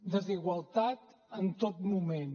desigualtat en tot moment